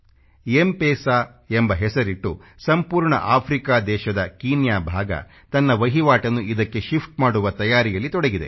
MPESA ಎಂಬ ಹೆಸರಿಟ್ಟು ಸಂಪೂರ್ಣ ಆಫ್ರಿಕಾ ದೇಶದ ಕೀನ್ಯಾ ಭಾಗ ತನ್ನ ವಹಿವಾಟನ್ನು ಇದಕ್ಕೆ ಶಿಫ್ಟ್ ಮಾಡುವ ತಯಾರಿಯಲ್ಲಿ ತೊಡಗಿದೆ